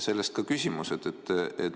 Sellest ka küsimus.